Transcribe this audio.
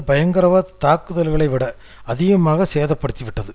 பயங்கரவாத தாக்குதல்களை விட அதிகமாக சேதப்படுத்திவிட்டது